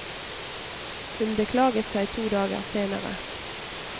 Hun beklaget seg to dager senere.